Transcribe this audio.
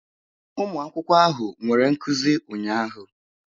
Ụmụ akwụkwọ ahụ nwere nkuzi ụnyahụ.